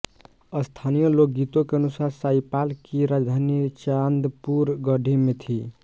स्थानीय लोकगीतों के अनुसार शाहीपाल की राजधानी चांदपुर गढ़ी में थी